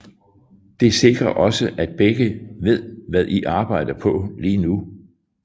Det sikrer også at begge ved hvad I arbejder på lige nu